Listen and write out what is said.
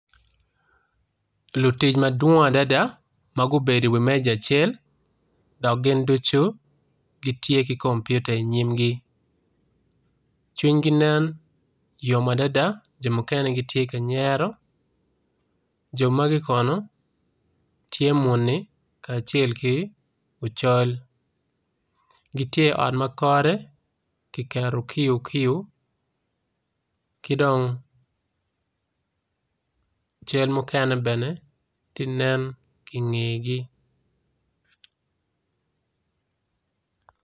Lutic madwong adada magubedo i wimeca acel dok gin ducu gitye ki kompiuta i nyimgi cwinygi nen yom adada jo mukene gitye kanyero jo magi kono tye muni kace ki ocol gitye i ot ma kode kiketo kiyo kiyo kidong cal mukene bene tye nen i ngegi.